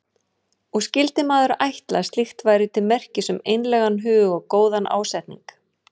Og skyldi maður ætla að slíkt væri til merkis um einlægan hug og góðan ásetning.